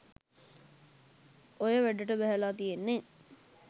ඔය වැඩට බැහැල තියෙන්නෙ